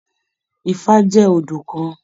Ifá jẹ odù kàn.